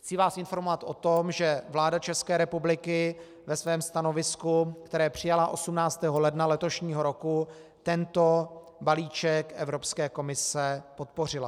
Chci vás informovat o tom, že vláda České republiky ve svém stanovisku, které přijala 18. ledna letošního roku, tento balíček Evropské komise podpořila.